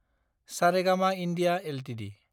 Saregama India Ltd